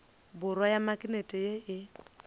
borwa ya maknete ye e